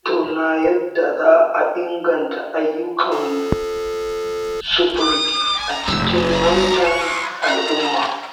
Za mu tattauna yadda za a inganta ayyukan sufuri a cikin wannan al'umma.